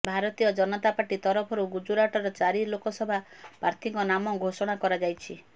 ଭାରତୀୟ ଜନତା ପାର୍ଟି ତରଫରୁ ଗୁଜୁରାଟର ଚାରି ଲୋକସଭା ପ୍ରାର୍ଥୀଙ୍କ ନାମ ଘୋଷଣା କରାଯାଇଛି